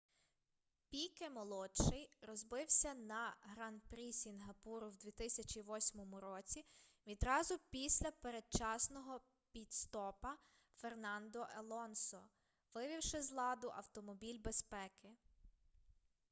піке-молодший розбився на гран-прі сінгапуру в 2008 році відразу після передчасного піт-стопа фернандо алонсо вивівши з ладу автомобіль безпеки